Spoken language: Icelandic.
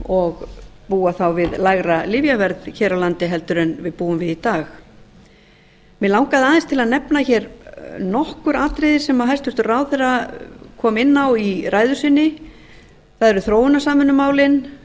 og búa þá við lægra lyfjaverð hér á landi heldur en við búum við í dag mig langaði aðeins til að nefna nokkur atriði sem hæstvirtur ráðherra kom inn á í ræðu sinni það eru